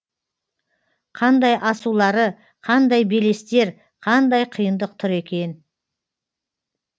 қандай асулары қандай белестер қандай қиындық тұр екен